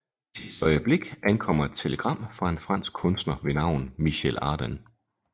I sidste øjeblik ankommer et telegram fra en fransk kunstner ved navn Michel Ardan